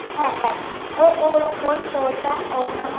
হ্যাঁ হ্যাঁ শুনছি ও ও হল ওই তো ওইটা ওর নাম হ~